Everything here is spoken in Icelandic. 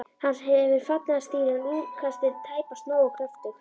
Hann hefur fallegan stíl, en útkastið tæpast nógu kröftugt.